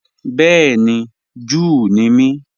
Bẹẹ̀ni, Júù ní mí.